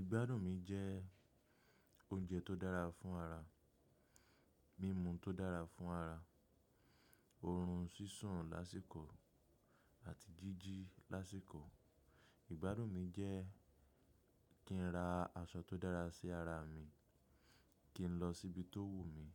Ìgbádùn mi jẹ́ oúnjẹ tó dára fún ara, mímu tó dára fún ara, oorun sísun lásíkò àti jíjí lásíkò. Ìgbádùn mi jẹ́ kí n ra aṣọ tó dára sí ara mi, kí n lọ síbi tó wùmí,